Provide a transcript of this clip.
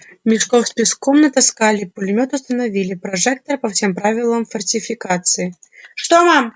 мешков с песком натаскали пулемёт установили прожектор по всем правилам фортификации что мам